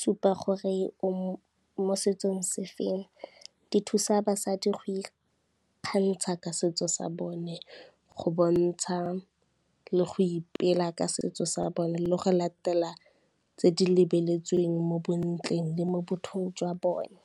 supa gore o mo setsong se feng. Di thusa basadi go ikgantsha ka setso sa bone, go bontsha le go ipela ka setso sa bone le go latela tse di lebeletsweng mo bontle le mo bathong jwa bone.